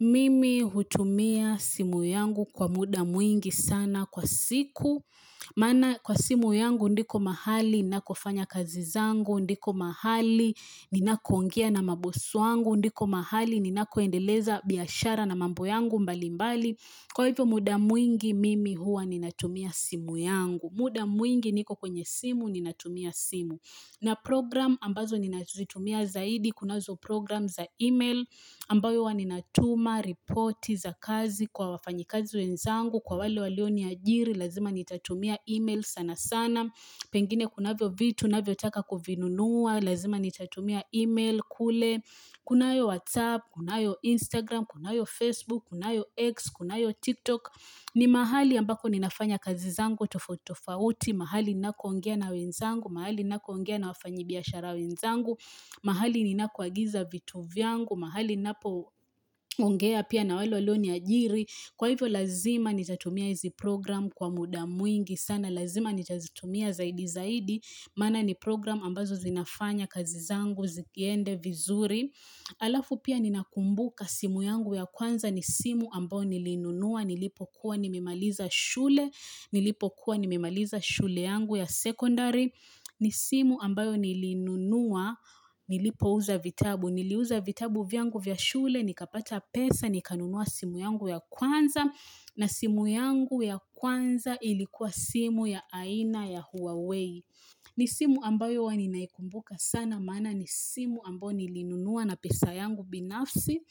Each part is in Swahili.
Mimi hutumia simu yangu kwa muda mwingi sana kwa siku. Maana kwa simu yangu ndiko mahali, ninakofanya kazi zangu, ndiko mahali, ninakoongea na mabosi wangu, ndiko mahali, ninakoendeleza biashara na mambo yangu mbalimbali. Kwa hivyo muda mwingi, mimi huwa ninatumia simu yangu. Muda mwingi niko kwenye simu, ninatumia simu. Na program ambazo ninazitumia zaidi, kunazo program za email ambayo huwa ninatuma, ripoti za kazi kwa wafanyikazi wenzangu, kwa wale walioniajiri, lazima nitatumia email sana sana, pengine kunavyo vitu, navyotaka kuvinunua, lazima nitatumia email kule, kunayo WhatsApp, kunayo Instagram, kunayo Facebook, kunayo X, kunayo TikTok. Ni mahali ambako ninafanya kazi zangu tofauti tofauti, mahali ninako ongea na wenzangu, mahali ninako ongea na wafanyibiashara wenzangu, mahali ninako agiza vitu vyangu, mahali napo ongea pia na wale walioniajiri. Kwa hivyo lazima nitatumia hizi program kwa muda mwingi sana, lazima nitazitumia zaidi zaidi, maana ni program ambazo zinafanya kazi zangu, ziende vizuri. Alafu pia ninakumbuka simu yangu ya kwanza ni simu ambayo nilinunua nilipokuwa nimemaliza shule Nilipokuwa nimemaliza shule yangu ya secondary ni simu ambayo nilinunua nilipouza vitabu Niliuza vitabu vyangu vya shule nikapata pesa nikanunua simu yangu ya kwanza na simu yangu ya kwanza ilikuwa simu ya aina ya huawei ni simu ambayo huwa ninaikumbuka sana maana ni simu ambayo nilinunua na pesa yangu binafsi.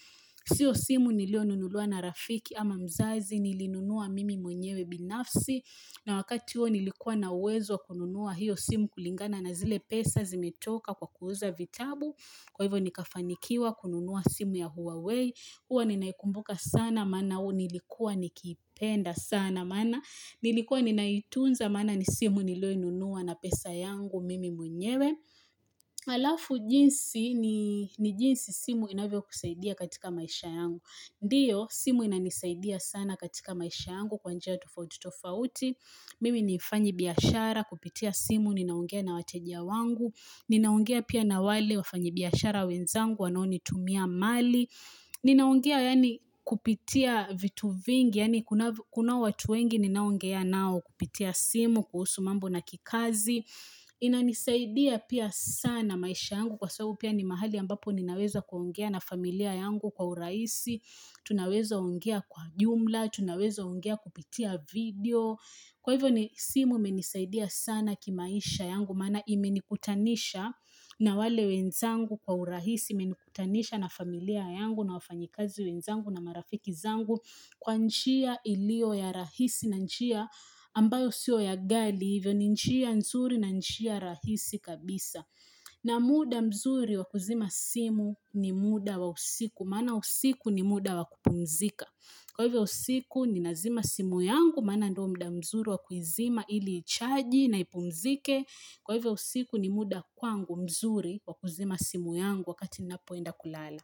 Sio simu nilionunuliwa na rafiki ama mzazi nilinunua mimi mwenyewe binafsi. Na wakati huo nilikuwa na uwezo wa kununua hiyo simu kulingana na zile pesa zimetoka kwa kuuza vitabu. Kwa hivyo nikafanikiwa kununua simu ya Huawei. Huwa ninaikumbuka sana, maana huu nilikuwa nikipenda sana, maana nilikuwa ninaitunza, maana ni simu nilionunua na pesa yangu mimi mwenyewe. Alafu jinsi, ni jinsi simu inavyokusaidia katika maisha yangu. Ndiyo, simu inanisaidia sana katika maisha yangu kwa njia tofauti tofauti. Mimi ni mfanyibiashara kupitia simu, ninaongea na wateja wangu. Ninaongea pia na wale wafanyibiashara wenzangu, wanaonitumia mali. Ninaongea yani kupitia vitu vingi yani kunao watu wengi ninaongea nao kupitia simu kuhusu mambo na kikazi inanisaidia pia sana maisha yangu kwa sababu pia ni mahali ambapo ninaweza kuongea na familia yangu kwa urahisi Tunaweza ongea kwa jumla, tunaweza ongea kupitia video Kwa hivyo ni simu imenisaidia sana kimaisha yangu maana imenikutanisha na wale wenzangu kwa urahisi imenikutanisha na familia yangu na wafanyikazi wenzangu na marafiki zangu kwa njia iliyo ya rahisi na njia ambayo sio ya ghali hivyo ni njia nzuri na njia rahisi kabisa na muda mzuri wa kuzima simu ni muda wa usiku maana usiku ni muda wa kupumzika kwa hivyo usiku ninazima simu yangu maana ndio muda mzuri wa kuizima ili ichaji na ipumzike Kwa hivyo usiku ni muda kwangu mzuri kwa kuzima simu yangu wakati napoenda kulala.